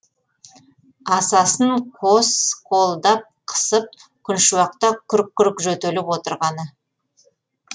асасын қос қолдап қысып күншуақта күрк күрк жөтеліп отырғаны